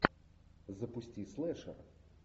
запусти слэшер